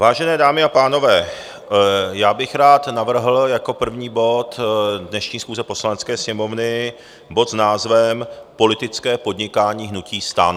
Vážené dámy a pánové, já bych rád navrhl jako první bod dnešní schůze Poslanecké sněmovny bod s názvem Politické podnikání hnutí STAN.